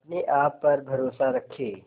अपने आप पर भरोसा रखें